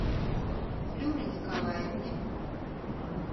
флюры николаевны